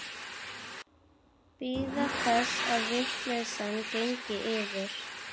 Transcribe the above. Bíða þess að vitleysan gengi yfir.